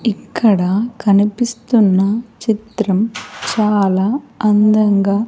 ఇక్కడ కనిపిస్తున్న చిత్రం చాలా అందంగా.